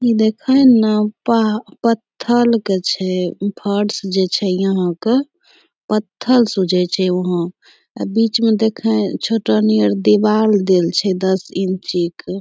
ई देखैं ना पा पत्थल के छै फर्श जे छै यहाँ क पत्थल सुझै छै वहाँ अ बीच म देखैं छोटो नियर दिवाल देल छै दस इंची क।